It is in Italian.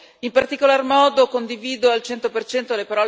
Sono sicura che faremo anche questa volta un ottimo lavoro.